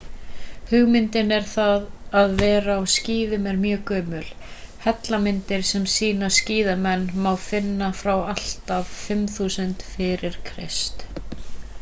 hugmyndin um það að vera á skíðum er mjög gömul hellamyndir sem sýna skíðamenn má finna frá því allt að 5000 f.kr